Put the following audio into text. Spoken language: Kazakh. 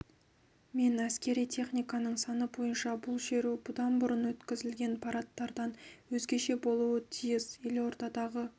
мен әскери техниканың саны бойынша бұл шеру бұдан бұрын өткізілген парадтардан өзгеше болуы тиіс елордадағы